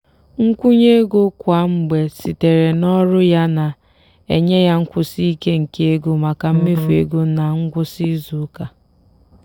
nkwụnye ego kwa mgbe sitere n'ọrụ ya na-enye ya nkwụsi ike nke ego maka mmefu ego ná ngwụsị izuụka.